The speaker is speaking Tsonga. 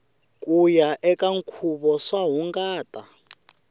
kuya eka nkhuvo swa hungata